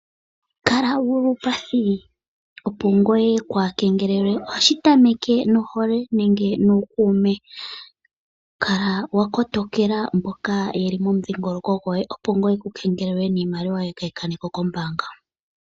Kala wu li uupathi opo ngoye waa kengelelwe. Ohashi tameke nohole nenge nuukuume. Kala wa kotokela mboka ye li mokudhingoloko goye, opo ngoye waa kuukengelelwe, niimaliwa yoye kaayi kane ko kombaanga.